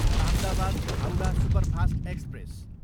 Ahmedabad, Howrah superfast express